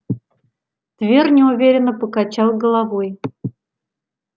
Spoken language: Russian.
твер неуверенно покачал головой